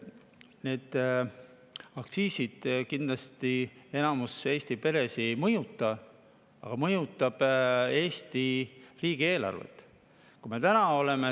Nii et aktsiisid kindlasti enamikku Eesti peredest ei mõjuta, aga need mõjutavad Eesti riigieelarvet.